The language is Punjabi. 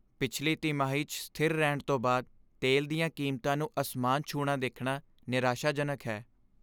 ਪਿਛਲੀ ਤਿਮਾਹੀ 'ਚ ਸਥਿਰ ਰਹਿਣ ਤੋਂ ਬਾਅਦ ਤੇਲ ਦੀਆਂ ਕੀਮਤਾਂ ਨੂੰ ਅਸਮਾਨ ਛੂਹਣਾ ਦੇਖਣਾ ਨਿਰਾਸ਼ਾਜਨਕ ਹੈ।